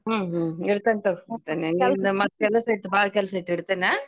ಹ್ಮ್ ಹ್ಮ್ ಇಡತನ್ ತಗ ಮತ್ ಕೆಲಸೈತ್ ಬಾಳ್ ಕೆಲಸೈತ್ ಇಡತೇನ .